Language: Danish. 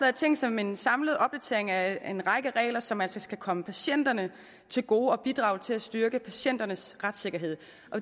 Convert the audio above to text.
er tænkt som en samlet opdatering af en række regler som altså skal komme patienterne til gode og bidrage til at styrke patienternes retssikkerhed